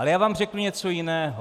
Ale já vám řeknu něco jiného.